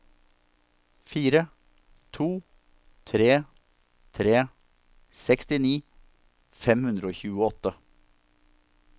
fire to tre tre sekstini fem hundre og tjueåtte